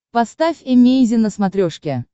поставь эмейзин на смотрешке